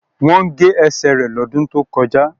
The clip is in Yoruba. Wọ́n gé ẹsẹ̀ rẹ lọ́dún tí ó kọjá